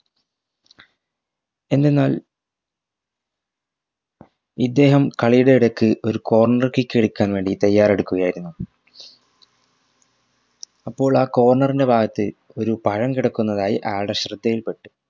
എന്തെന്നാൽ ഇദ്ദേഹം കളിയുടെ എടക് ഒരു corner kick എടുക്കാൻ വേണ്ടി തയ്യാറെടുക്കുക ആയിരുന്നു അപ്പോൾ ആ corner ൻറെ ഭാഗത് ഒരു പഴം കെടുക്കുന്നതായി ആയാൾടെ ശ്രദ്ധയിൽ പെട്ട്